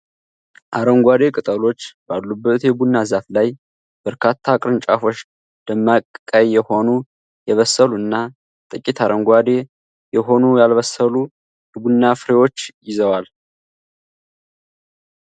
አረንጓዴ ቅጠሎች ባሉበት የቡና ዛፍ ላይ፣ በርካታ ቅርንጫፎች ደማቅ ቀይ የሆኑ፣ የበሰሉ እና ጥቂት አረንጓዴ የሆኑ ያልበሰሉ የቡና ፍሬዎችን ይዘዋል።